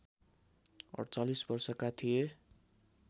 ४८ वर्षका थिए